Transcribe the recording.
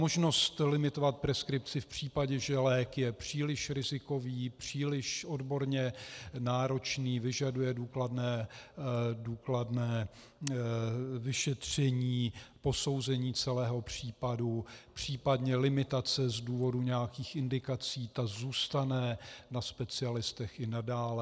Možnost limitovat preskripci v případě, že lék je příliš rizikový, příliš odborně náročný, vyžaduje důkladné vyšetření, posouzení celého případu, případně limitace z důvodu nějakých indikací, to zůstane na specialistech i nadále.